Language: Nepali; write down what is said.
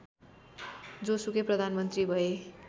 जोसुकै प्रधानमन्त्री भए